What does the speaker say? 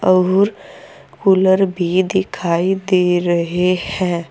और कूलर भी दिखाई दे रहे है।